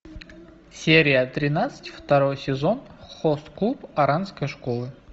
серия тринадцать второй сезон хост клуб оранской школы